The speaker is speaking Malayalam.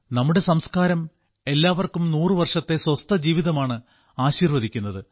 നമ്മുടെ സംസ്കാരം എല്ലാവർക്കും നൂറുവർഷത്തെ സ്വസ്ഥ ജീവിതമാണ് ആശിർവദിക്കുന്നത്